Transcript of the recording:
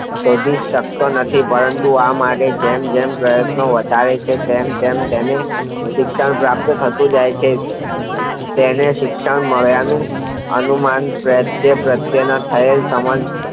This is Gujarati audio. વધુ શકતો નથી પરંતુ માટે જેમ પ્રયત્નો વધારે છે તેમ તેમનું શિક્ષણ પ્રાપ્ત થતું જાય છે તેને શિક્ષણ માલ્યાની અનુમાન તે પ્રત્યેનો ખ્યાલ